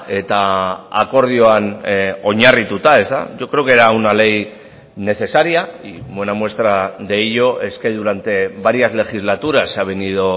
eta akordioan oinarrituta yo creo que era una ley necesaria y buena muestra de ello es que durante varias legislatura se ha venido